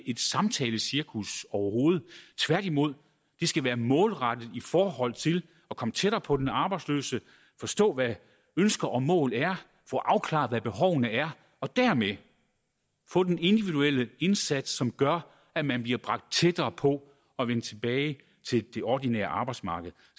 et samtalecirkus overhovedet tværtimod det skal være målrettet i forhold til at komme tættere på den arbejdsløse forstå hvad ønsker og mål er få afklaret hvad behovene er og dermed få den individuelle indsats som gør at man bliver bragt tættere på at vende tilbage til det ordinære arbejdsmarked